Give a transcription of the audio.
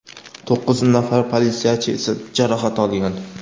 to‘qqiz nafar politsiyachi esa jarohat olgan.